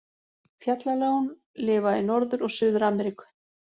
Fjallaljón lifa í Norður- og Suður-Ameríku.